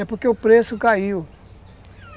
É porque o preço caiu.